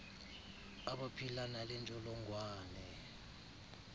abaphila nale ntsholongwane